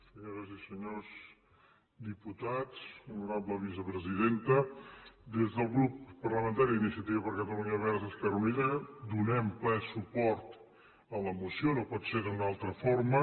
senyores i senyors diputats honorable vicepresidenta des del grup parlamentari d’iniciativa per catalunya verds esquerra unida donem ple suport a la moció no pot ser d’una altra forma